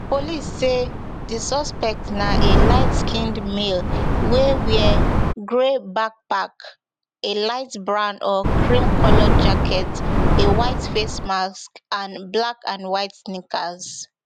police say di suspect na a lightskinned male wey wear grey backpack a light brown or creamcolored jacket a white face mask and blackandwhite sneakers